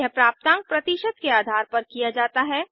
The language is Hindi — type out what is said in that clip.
यह प्राप्तांक प्रतिशत के आधार पर किया जाता है